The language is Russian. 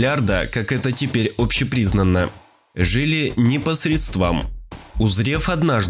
как это теперь общепризнанно жили не посредством узрев